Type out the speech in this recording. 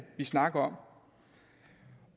vi snakker om